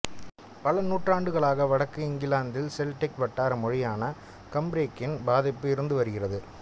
பல நூற்றாண்டுகளாக வடக்கு இங்கிலாந்தில் செல்டிக் வட்டார மொழியான கம்ப்ரிக்கின் பாதிப்பு இருந்து வந்திருக்கிறது